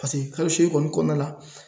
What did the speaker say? kalo seegin kɔni kɔnɔna la